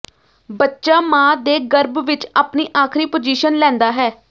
ਬੱਚਾ ਮਾਂ ਦੇ ਗਰਭ ਵਿਚ ਆਪਣੀ ਆਖਰੀ ਪੋਜੀਸ਼ਨ ਲੈਂਦਾ ਹੈ